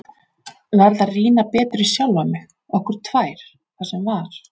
Verð að rýna betur í sjálfa mig, okkur tvær, það sem var.